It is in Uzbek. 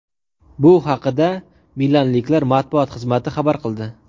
Bu haqida milanliklar matbuot xizmati xabar qildi .